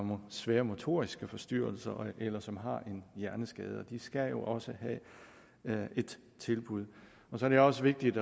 svære motoriske forstyrrelser eller som har en hjerneskade de skal jo også have et tilbud så er det også vigtigt